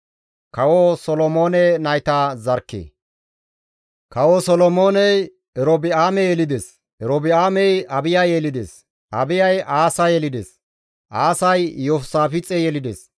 Kawo Solonooney Erobi7aame yelides; Erobi7aamey Abiya yelides; Abiyay Aasa yelides; Aasay Iyoosaafixe yelides;